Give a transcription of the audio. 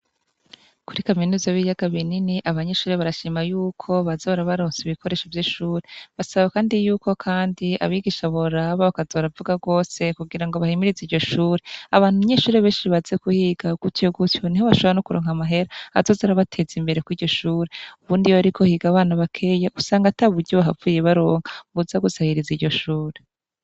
Kuri kaminuza b'iryaga binini abanyeshure barashima yuko baza barabaronsa ibikoresho vy'ishure basaba, kandi yuko, kandi abigisha boraba bakaza baravuga rwose kugira ngo bahimirize iryo shure abantu nyeshure benshire baze kuhiga uguti yogusya ni ho bashabra no kuronka amahera azozi arabateza imbere ko'iryishure ubundi yo ari gohiga abana bakeyeu ngata buryo bahapfuye baronka vuza gusahireza iryo shura.